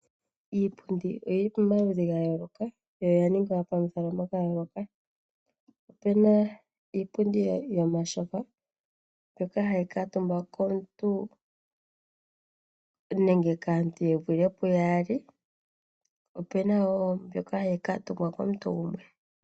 Iipundu oyili pomaludhi gayoloka yo yaningwa pamikalo dhayoloka, opena iipundi yomatyofa mbyoka hayi kaatumbwa komuntu nenge kaantu yevule puyaali opena wo mbyoka hayi kaatumbwa komuntu gumwe.